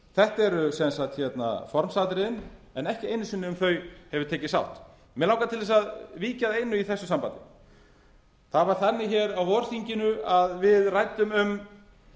þetta eru formsatriðin en ekki einu sinni um þau hefur tekist sátt mig langar til að víkja að einu í þessu sambandi það var þannig á vorþinginu að við ræddum um